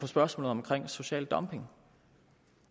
spørgsmålet om social dumping